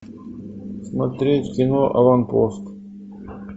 смотреть кино аванпост